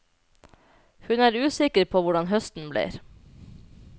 Hun er usikker på hvordan høsten blir.